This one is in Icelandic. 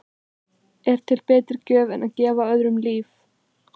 Er til betri gjöf en að gefa öðrum líf?